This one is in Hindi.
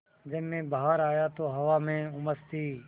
जब मैं बाहर आया तो हवा में उमस थी